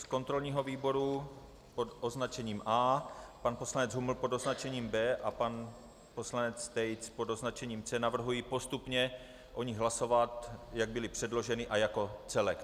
Z kontrolního výboru pod označením A, pan poslanec Huml pod označením B a pan poslanec Tejc pod označením C. Navrhuji postupně o nich hlasovat, jak byly předloženy a jako celek.